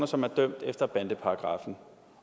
som er dømt efter bandeparagraffen